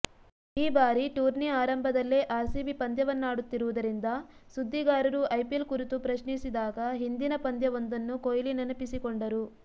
ಈ ಬಾರಿ ಟೂರ್ನಿ ಆರಂಭದಲ್ಲೇ ಆರ್ಸಿಬಿ ಪಂದ್ಯವನ್ನಾಡುತ್ತಿರುವುದರಿಂದ ಸುದ್ದಿಗಾರರು ಐಪಿಎಲ್ ಕುರಿತು ಪ್ರಶ್ನಿಸಿದಾಗ ಹಿಂದಿನ ಪಂದ್ಯವೊಂದನ್ನು ಕೊಹ್ಲಿ ನೆನಪಿಸಿಕೊಂಡರು